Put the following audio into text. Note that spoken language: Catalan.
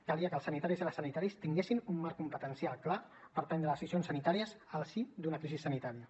calia que els sanitaris i les sanitàries tinguessin un marc competencial clar per prendre decisions sanitàries al si d’una crisi sanitària